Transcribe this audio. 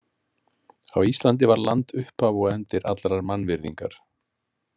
Á Íslandi var land upphaf og endir allrar mannvirðingar.